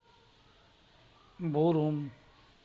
бурум